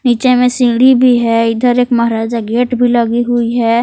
नीचे में सीढ़ी भी है इधर एक महाराजा गेट भी लगी हुई है।